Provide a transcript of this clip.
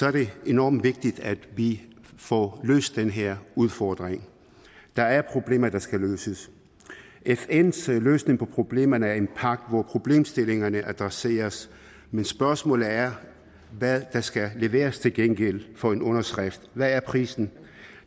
er det enormt vigtigt at vi får løst den her udfordring der er problemer der skal løses fns løsning på problemerne er en pagt hvor problemstillingerne adresseres men spørgsmålet er hvad der skal leveres til gengæld for en underskrift hvad er prisen